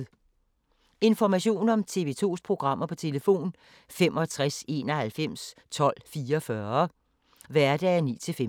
Information om TV 2's programmer: 65 91 12 44, hverdage 9-15.